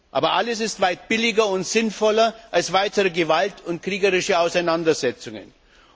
Aber alles ist weit billiger und sinnvoller als weitere Gewalt und kriegerische Auseinandersetzungen.